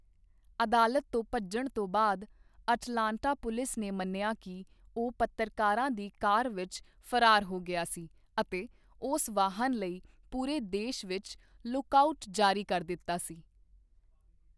ਅਦਾਲਤ ਤੋਂ ਭੱਜਣ ਤੋਂ ਬਾਅਦ ਅਟਲਾਂਟਾ ਪੁਲਿਸ ਨੇ ਮੰਨਿਆ ਕਿ ਉਹ ਪੱਤਰਕਾਰਾਂ ਦੀ ਕਾਰ ਵਿੱਚ ਫਰਾਰ ਹੋ ਗਿਆ ਸੀ ਅਤੇ ਉਸ ਵਾਹਨ ਲਈ ਪੂਰੇ ਦੇਸ਼ ਵਿੱਚ 'ਲੁੱਕ ਆਊਟ' ਜਾਰੀ ਕਰ ਦਿੱਤਾ ਸੀ।